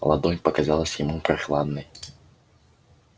ладонь показалась ему прохладной